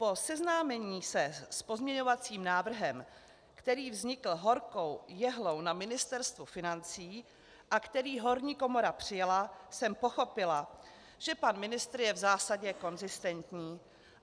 Po seznámení se s pozměňovacím návrhem, který vznikl horkou jehlou na Ministerstvu financí a který horní komora přijala, jsem pochopila, že pan ministr je v zásadě konzistentní.